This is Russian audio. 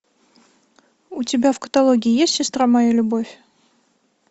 у тебя в каталоге есть сестра моя любовь